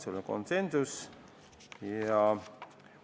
See oli konsensuslik ettepanek.